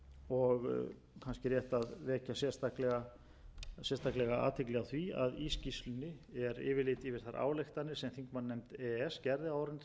og kannski rétt að vekja sérstaklega athygli á því að í skýrslunni er yfirlit yfir þær ályktanir sem þingmannanefnd e e s gerði á árinu tvö þúsund og